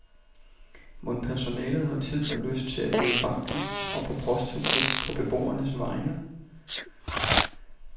Mon personalet har tid og lyst til at gå i banken og på posthuset på beboernes vegne?